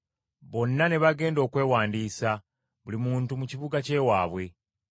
Bonna ne bagenda okwewandiisa, buli muntu mu kibuga ky’ewaabwe.